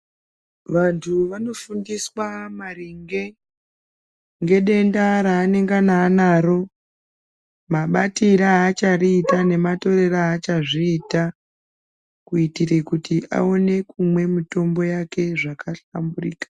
Vanhtu vanofundiswa maringe ngedenda ranangana anaro mabatire achiriita nematorere achazviita kuiture kuti aone kumwa mitombo yake zvakahlamburika.